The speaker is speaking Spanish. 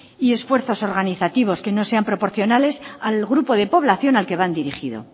y esfuerzos organizativos que no sean proporcionales al grupo de población al que van dirigido